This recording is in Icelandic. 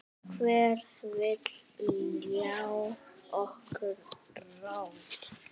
Hver vill ljá okkur rödd?